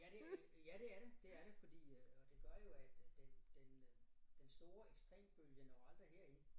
Ja det øh ja det er det er det fordi øh og det gør jo at øh den den den store ekstrembølge når aldrig herind